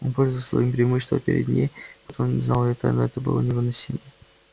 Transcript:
он пользовался своим преимуществом перед ней потому что знал её тайну и это было невыносимо